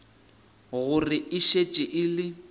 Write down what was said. gore e šetše e le